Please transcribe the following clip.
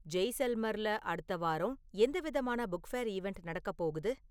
ஜெய்சல்மர்ல அடுத்த வாரம் எந்த விதமான புக் ஃபேர் ஈவண்ட் நடக்கப் போகுது